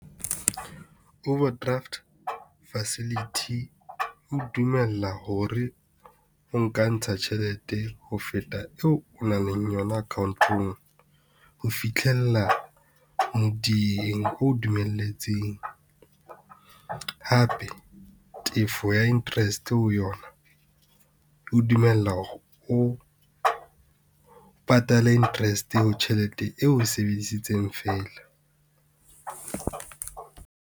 Overdraft facility e o dumella hore o nka ntsha tjhelete ho feta eo o nang leng yona account-ong ho fitlhella modiyeng, o dumelletseng. Hape tefo ya interest ho yona e o dumella hore o patale interest ho tjhelete eo o e sebedisitseng fela.